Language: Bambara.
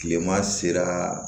Kileman sera